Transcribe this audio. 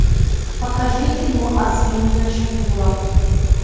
покажи кино ослиная шкура